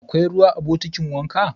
Akwai ruwa a bokitin wanka?